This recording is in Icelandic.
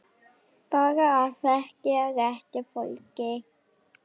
Bara að þekkja rétta fólkið.